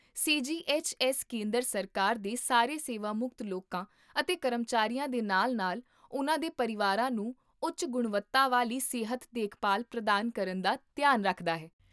ਸੀ G H S ਕੇਂਦਰ ਸਰਕਾਰ ਦੇ ਸਾਰੇ ਸੇਵਾਮੁਕਤ ਲੋਕਾਂ ਅਤੇ ਕਰਮਚਾਰੀਆਂ ਦੇ ਨਾਲ ਨਾਲ ਉਨ੍ਹਾਂ ਦੇ ਪਰਿਵਾਰਾਂ ਨੂੰ ਉੱਚ ਗੁਣਵੱਤਾ ਵਾਲੀ ਸਿਹਤ ਦੇਖਭਾਲ ਪ੍ਰਦਾਨ ਕਰਨ ਦਾ ਧਿਆਨ ਰੱਖਦਾ ਹੈ